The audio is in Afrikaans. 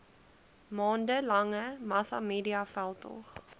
maande lange massamediaveldtog